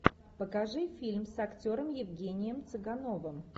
покажи фильм с актером евгением цыгановым